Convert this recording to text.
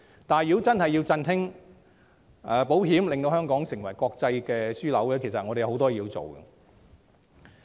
但如要振興保險業，令香港成為國際樞紐，其實我們仍有很多工作要做。